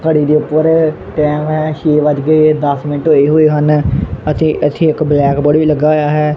ਘੜੀ ਦੇ ਉੱਪਰ ਟੈਮ ਹੋਇਐ ਛੇ ਵਜਕੇ ਦੱਸ ਮਿੰਟ ਹੋਏ ਓਏ ਹਨ ਅਤੇ ਇੱਥੇ ਇੱਕ ਬਲੈਕਬੋਰਡ ਵੀ ਲੱਗਾ ਹੋਇਆ ਹੈ।